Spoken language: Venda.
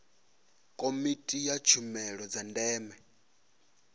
komiti ya tshumelo dza ndeme